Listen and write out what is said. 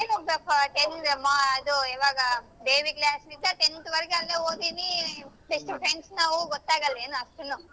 ಏನು ಮಾ~ ಇದು ಯಾವಾಗ daily class ಇತ್ತ tenth ವರೆಗೂ ಅಲ್ಲೇ ಓದಿನಿ best friends ನಾವು ಗೊತ್ತಾಗಲ್ವೇನು ಅಷ್ಟುನು.